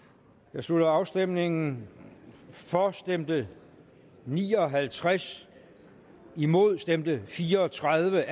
jeg slutter afstemningen for stemte ni og halvtreds imod stemte fire og tredive